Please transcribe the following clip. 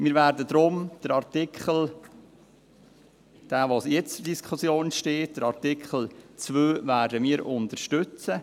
Wir werden deshalb den jetzt zur Diskussion stehenden Artikel 2 unterstützen.